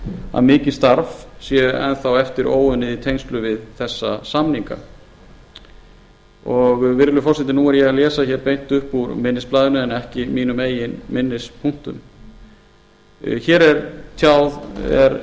að mikið starf sé enn þá eftir óunnið í tengslum við þessa samninga virðulegur forseti nú er ég að lesa hér beint upp úr minnisblaðinu en ekki mínum eigin minnispunktum hér er